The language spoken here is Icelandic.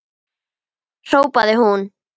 hrópaði hún.